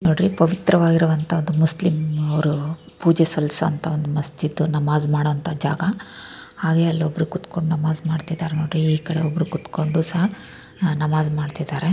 ನೋಡ್ರಿ ಪಾವಿತ್ರವಾಗಿರುವಂತಹ ಒಂದು ಮುಸ್ಲಿಂ ಅವರು ಪೂಜೆ ಸಲ್ಲಿಸುವಂತಹ ಒಂದು ಮಸ್ಜಿದ್ ನಮಾಜ್ ಮಾಡುವಂತಹ ಒಂದು ಜಾಗ ಹಾಗೆ ಅಲ್ಲಿ ಒಬ್ಬರು ಕುತ್ಕೊಂಡು ನಮಾಜ್ ಮಾಡ್ತಿದ್ದಾರೆ ನೋಡ್ರಿ ಹಾಗೆ ಈಕಡೆ ಒಬ್ರು ಕೊಟ್ಕೊಂಡು ಸಹ ನಮಾಜ್ ಮಾಡ್ತಿದ್ದಾರೆ.